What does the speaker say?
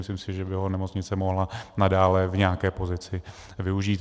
Myslím si, že by ho nemocnice mohla nadále v nějaké pozici využít.